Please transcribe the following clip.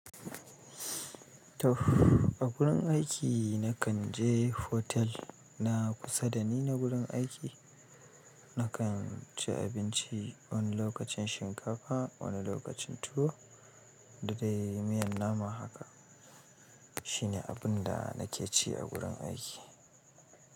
Tuff, a gurin aiki na kan je hotel na kusa da ni na gurin aiki. Na kan ci abinci, wani lokacin shinkafa, wani lokacin, tuwo da dai miyan nama haka. Shi ne abin da nake ci a gurin aiki.